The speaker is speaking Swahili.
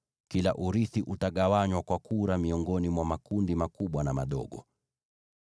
Kila urithi utagawanywa kwa kura miongoni mwa makundi makubwa na madogo.”